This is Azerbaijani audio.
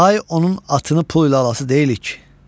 Day onun atını pul ilə alasız deyilik ki.